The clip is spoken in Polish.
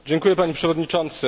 Panie Przewodniczący!